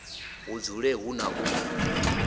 hu dzule hu na u